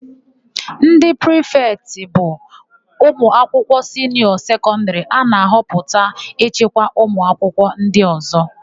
Ndị prịfetị bụ ụmụakwụkwọ siniọ sekọndịrị a na-ahọpụta ịchịkwa ụmụakwụkwọ ndị ọ̀zọ́.